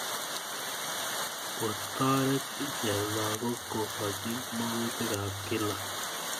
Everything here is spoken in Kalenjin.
Kotoret icheket lagok kokochi makutik ap kila